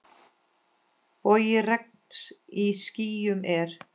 Bogi regns í skýjum er.